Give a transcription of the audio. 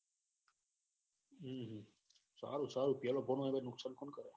સારું સારું પેલો પગારે નુકસાન કોણ કરે.